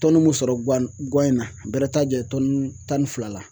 mun sɔrɔ guwan guwan in na bɛrɛ t'a jɛn tan ni fila la.